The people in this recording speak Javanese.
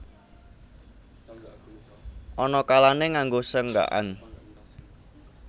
Ana kalané nganggo senggakan